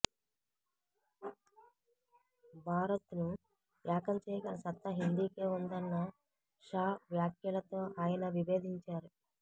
భారత్ను ఏకం చేయగల సత్తా హిందీకే ఉందన్న షా వ్యాఖ్యలతో ఆయన విభేదించారు